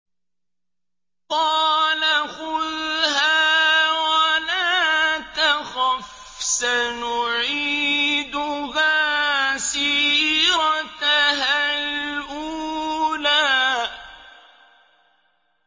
قَالَ خُذْهَا وَلَا تَخَفْ ۖ سَنُعِيدُهَا سِيرَتَهَا الْأُولَىٰ